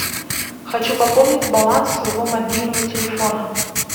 хочу пополнить баланс своего мобильного телефона